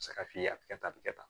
Sara f'i ye a bɛ kɛ tan a bɛ kɛ tan